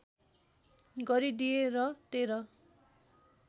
गरिदिए र १३